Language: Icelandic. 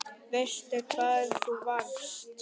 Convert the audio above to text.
Veistu hvar þú varst?